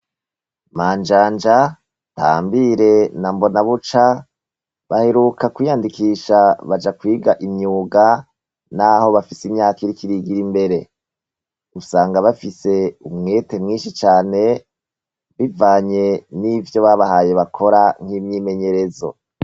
Manjanja, Ntambire na Mbonabuca baeruka kwiyandikisha baja kwiga imyuga naho bafise imyaka iriko irigira imbere. Usanga bafise umwete mwinshi cane bivanye n'ivyo babahaye bakora nk'imyimenyerezo.